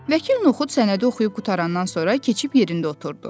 Vəkil Noxud sənədi oxuyub qurtarandan sonra keçib yerində oturdu.